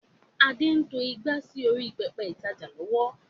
Adé ń to ìgbà sì orí pẹpẹ ìtajà lọ́wọ́